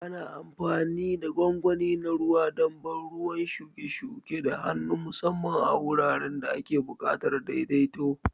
Ana amfani da gwangwani na ruwa don ban ruwan shuke-shuke da hannu, musamman a wuraren da ake buƙatar daidaito.